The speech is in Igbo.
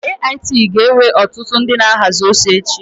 AIT ga-ewe ọtụtụ ndị na-ahazi ozi echi.